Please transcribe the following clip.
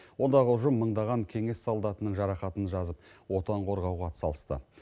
ондағы ұжым мыңдаған кеңес солдатының жарақатын жазып отан қорғауға атсалысты